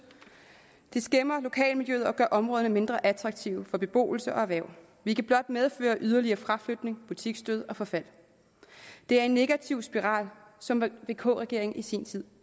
det skæmmer lokalmiljøet og gør områderne mindre attraktive for beboelse og erhverv hvilket blot medfører yderligere fraflytning butiksdød og forfald det er en negativ spiral som vk regeringen i sin tid